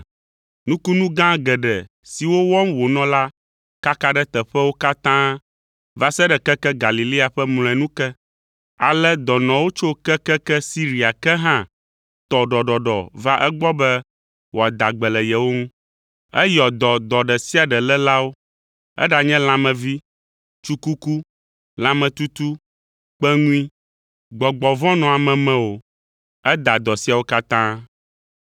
Nukunu gã geɖe siwo wɔm wònɔ la kaka ɖe teƒewo katã va se ɖe keke Galilea ƒe mlɔenu ke. Ale dɔnɔwo tso kekeke Siria ke hã tɔ ɖɔɖɔɖɔ va egbɔ be wòada gbe le yewo ŋu. Eyɔ dɔ dɔ ɖe sia ɖe lélawo, eɖanye lãmevee, tsukuku, lãmetutu, kpeŋui, gbɔgbɔ vɔ̃ nɔ ame me o, eda dɔ siawo katã.